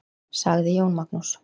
Sagði Jón Magnús.